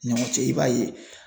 Ɲɔgɔn cɛ i b'a ye